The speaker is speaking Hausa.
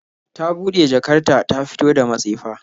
Ta bude jakar ta ta fito da matsefa